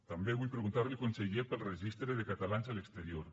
també vull preguntar li conseller pel registre de catalans a l’exterior